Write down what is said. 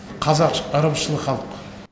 қазақ ырымшыл халық